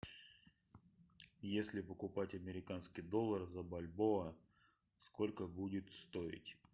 если покупать американский доллар за бальбоа сколько будет стоить